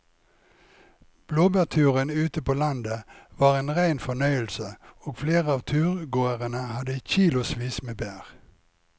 Blåbærturen ute på landet var en rein fornøyelse og flere av turgåerene hadde kilosvis med bær.